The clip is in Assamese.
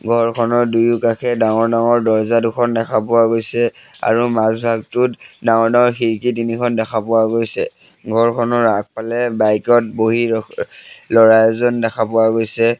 ঘৰখনৰ দুয়োকাষে ডাঙৰ-ডাঙৰ দৰ্জা দুখন দেখা পোৱা গৈছে আৰু মাজ ভাগটোত ডাঙৰ-ডাঙৰ খিৰিকী তিনিখন দেখা পোৱা গৈছে ঘৰখনৰ আগফালে বাইকত বহি অ অ ল'ৰা এজন দেখা পোৱা গৈছে।